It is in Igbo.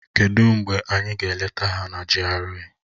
Kedụ mgbe anyị ga-eleta ha na GRA?